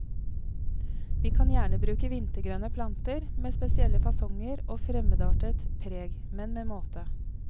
Vi kan gjerne bruke vintergrønne planter med spesielle fasonger og fremmedartet preg, men med måte.